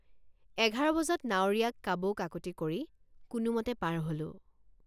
এঘাৰ বজাত নাৱৰীয়াক কাবৌকাকূতি কৰি কোনোমতে পাৰ হলোঁ।